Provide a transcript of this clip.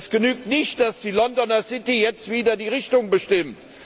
Es genügt nicht, dass die Londoner City jetzt wieder die Richtung bestimmt.